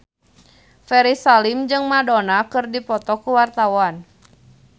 Ferry Salim jeung Madonna keur dipoto ku wartawan